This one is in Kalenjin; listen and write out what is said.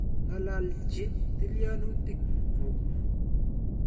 Ng'alalji tilyanutik kuk.